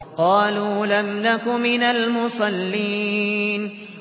قَالُوا لَمْ نَكُ مِنَ الْمُصَلِّينَ